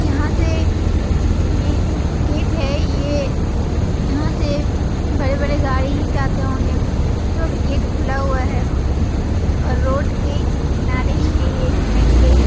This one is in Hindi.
यहाँ से मैन गेट है ये यहाँ से बड़े-बड़े गाड़ी जाते होंगे जो भी गेट खुला हुआ है और रोड के किनारे ही है ये मैन गेट ।